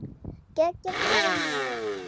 Geggjað dæmi.